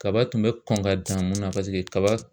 Kaba tun bɛ kɔn ka dan mun na paseke kaba